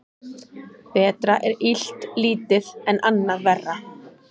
Betra er illt lítið en annað verra.